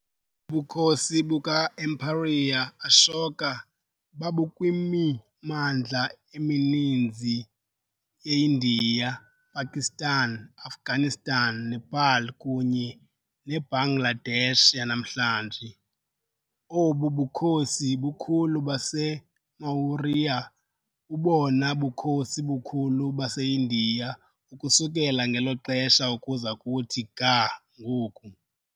Ubukhosi buka-Emperor Ashoka babukwimimandla emininzi yeIndiya, Pakistan, Afghanistan, Nepal kunye neBangladesh yanamhlanje. Obu bukhosi bukhulu baseMaurya bubobona bukhosi bukhulu baseIndiya ukusukela ngelo xesha ukuza kuthi ga ngoku.